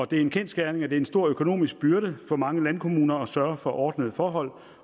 det er en kendsgerning at det er en stor økonomisk byrde for mange landkommuner at sørge for ordnede forhold